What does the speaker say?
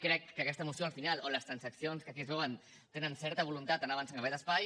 crec que aquesta moció al final o les transaccions que aquí es veuen tenen certa voluntat d’anar avançant en aquest espai